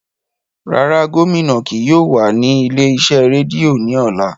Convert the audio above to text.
Rara, gomina kii yóò wa ni ile-iṣẹ redio ni ọla.